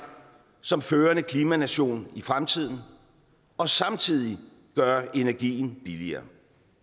som førende klimanation i fremtiden og samtidig gøre energien billigere